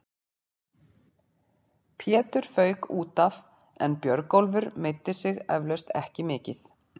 Pétur fauk útaf en Björgólfur meiddi sig eflaust ekki mikið.